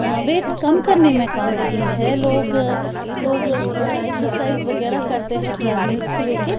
अ weight कम करने में काम आती है लोग लोग एक्सरसाइज वगैरह करते हैं ट्रेडमिल्स को ले के।